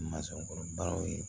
Mansɔnkɔrɔ baaraw ye